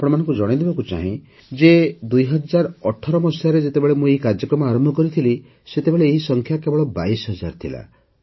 ମୁଁ ଆପଣମାନଙ୍କୁ ଜଣାଇଦେବାକୁ ଚାହେଁ ଯେ ଦୁଇହଜାର ଅଠର ମସିହାରେ ଯେତେବେଳେ ମୁଁ ଏହି କାର୍ଯ୍ୟକ୍ରମ ଆରମ୍ଭ କରିଥିଲି ସେତେବେଳେ ଏହି ସଂଖ୍ୟା କେବଳ ବାଇଶ ହଜାର ଥିଲା